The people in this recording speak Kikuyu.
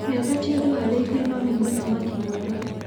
Miaka ti ũndũ hari ithue, no nĩ mũthaki mwega.